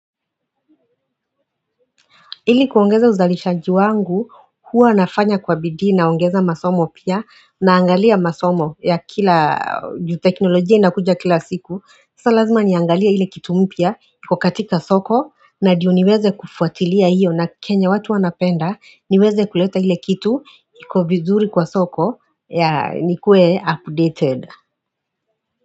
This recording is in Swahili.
Ili kuongeza uzalishaji wangu, huwa nafanya kwa bidii naongeza masomo pia, naangalia masomo ya kila teknolojia inakuja kila siku. Kisa lazima niangalia ile kitu mpya, iko katika soko, na ndio niweze kufuatilia hiyo na kenye watu wanapenda, niweze kuleta ile kitu, iko vizuri kwa soko, ya nikue updated.